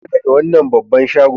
Fita daga wannan babban shagon!